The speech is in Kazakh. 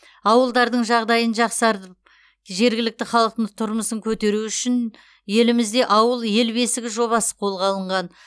ауылдардың жағдайын жақсартып жергілікті халықтың тұрмысын көтеру үшін елімізде ауыл ел бесігі жобасы қолға алынған